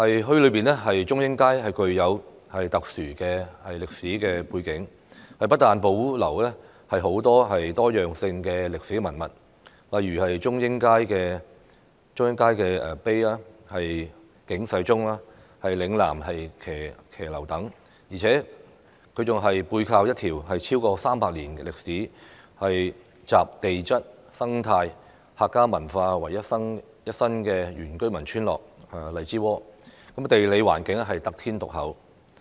墟內的中英街具有特殊的歷史背景，不但保留具多樣性的歷史文物，例如中英街的石碑、警世鐘和嶺南騎樓等，而且，沙頭角墟更背靠一條超過300年歷史，集地質、生態、客家文化為一身的原居民村落——荔枝窩，地理環境得天獨厚。